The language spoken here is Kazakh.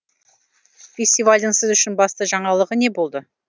фестивальдің сіз үшін басты жаңалығы не болды